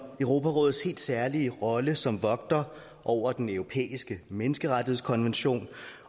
europarådets helt særlige rolle som vogter over den europæiske menneskerettighedskonvention